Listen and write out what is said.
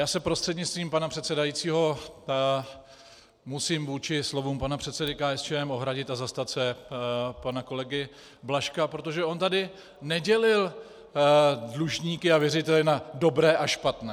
Já se prostřednictvím pana předsedajícího musím vůči slovům pana předsedy KSČM ohradit a zastat se pana kolegy Blažka, protože on tady nedělil dlužníky a věřitele na dobré a špatné.